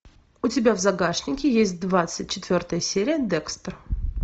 у тебя в загашнике есть двадцать четвертая серия декстер